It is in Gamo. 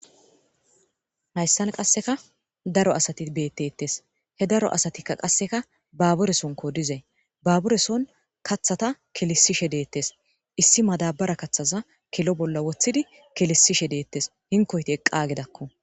Hayssan qasseka daro asati beettettes he daro asatikka qasseka baaburesunko dizee baabureson kathata kilisishe deettes issi madabara kaththaza kilo bolla wothidi kilisishe deettes hinkoyti eqqagedakko